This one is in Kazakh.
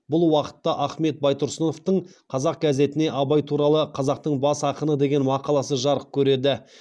бұл уақытта ахмет байтұрсыновтың қазақ газетіне абай туралы қазақтың бас ақыны деген мақаласы жарық көреді